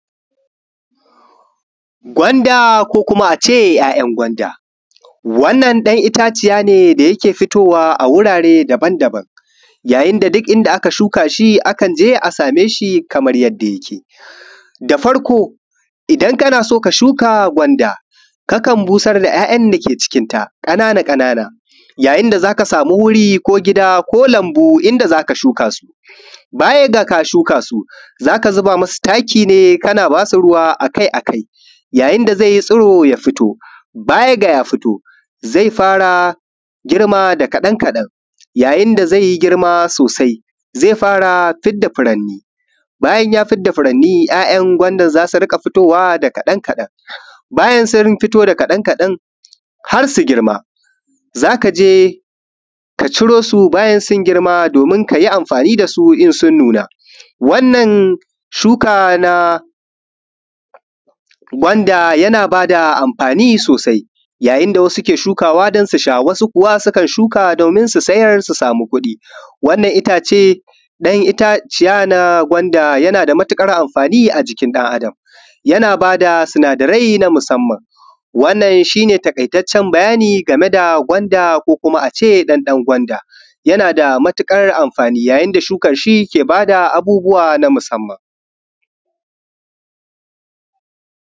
Gwanda ko kuma a ce ya'yan gwanda, wannan ɗan itaciya ne da yake fitowa a wurare daban-daban yayin da duk inda aka shuka shi akan je a same shi kamar yadda yake. Da Farko idan kana so ka shuka gwanda kakan busar da ya'yan dake cikinta ƙanana-ƙanana yayin da za ka samu wuri ko gida ko lambu inda za ka shuka. Baya ga ka shuka su za ka zuba masu taki kana ba su ruwa a kai a kai yayin da zai yi tsuro ya fito. Baya ga ya fito zai fara girma da da kaɗan-kaɗan yayin da zai yi girma sosai zai fara fitar da furanni bayan ya fidda furanni ya'yan gwanda za su riƙa fitowa da kaɗan-kaɗan bayan sun gama fitowa da kaɗan-kaɗan har su girma za ka je ka ciro su ka yi amfani da su in sun nuna. Shuka na gwanda yana ba da amfani sosai yayin da wasu ke shukawa don su sha wasu kuwa kan shuka don su sayar su sama kudi. Wannan itace na yin itaciya na gwanda yana da matukar amfani a jikin ɗan Adam yana ba da sunadarai na musamman. Wannan shi ne taƙaitaccen bayani game da gwanda ko kuma a ce ɗanɗan gwanda yana da matuƙar amfani yayin da shuka shi ke ba da abubuwa na musamman